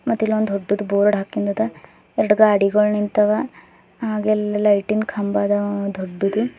ಮತ್ತಿಲೊಂದು ದೊಡ್ಡದು ಬೋರ್ಡ್ ಹಾಕಂದದ ಎರಡು ಗಾಡಿಗಳು ನಿಂತವೆ ಹಾಗೆ ಅಲ್ಲಿ ಲೈಟಿನ್ ಕಂಬ ಅದ ದೊಡ್ಡದು.